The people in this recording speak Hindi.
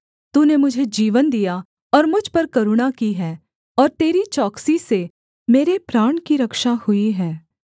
तूने मुझे जीवन दिया और मुझ पर करुणा की है और तेरी चौकसी से मेरे प्राण की रक्षा हुई है